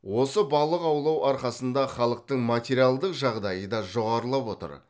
осы балық аулау арқасында халықтың материалдық жағдайы да жоғарылап отыр